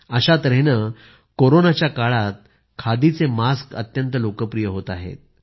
अशा तऱ्हेने कोरोनाच्या काळातही खादीचे मास्क अत्यंत लोकप्रिय होत आहेत